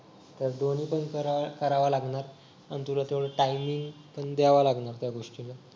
तर दोन्ही पण सराव करावा लागणार आणि तुला थोडा टाइमिंग पण द्यावा लागणार त्या गोष्टीला